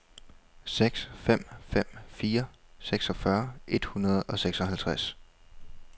seks fem fem fire seksogfyrre et hundrede og seksoghalvtreds